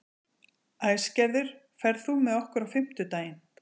Æsgerður, ferð þú með okkur á fimmtudaginn?